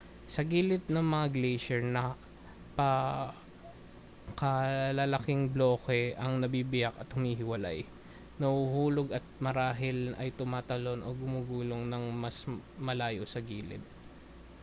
sa gilid ng mga glacier napakalalaking bloke ang nabibiyak at humihiwalay nahuhulog at marahil ay tumatalon o gumugulong nang mas malayo sa gilid